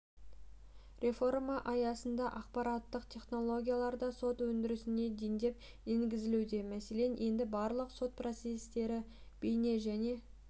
реформа аясында ақпараттық технологиялар да сот өндірісіне дендеп енгізілуде мәселен енді барлық сот процестері бейне және